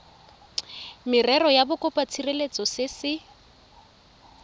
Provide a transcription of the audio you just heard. merero ya bokopatshireletso se se